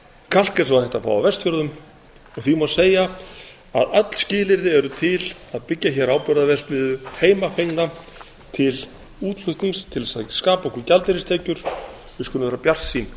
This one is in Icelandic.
kalk er svo hægt að fá á vestfjörðum og því má segja að öll skilyrði eru til að byggja hér áburðarverksmiðju heimafengna til útflutnings til þess að skapa okkur gjaldeyristekjur við skulum vera bjartsýn